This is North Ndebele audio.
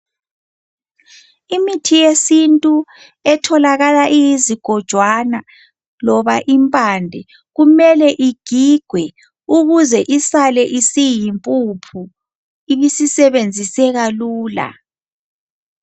Imithi yesintu etholakala iyizigojwana loba impande kumele igigwe ukuze isale isiyimpuphu ibisisebenziseka lula.